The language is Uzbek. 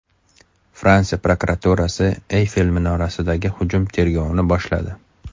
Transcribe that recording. Fransiya prokuraturasi Eyfel minorasidagi hujum tergovini boshladi.